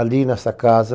Ali nessa casa,